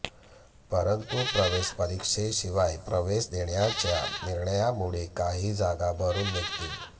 परंतु प्रवेश परीक्षेशिवाय प्रवेश देण्याच्या निर्णयामुळे काही जागा भरून निघतील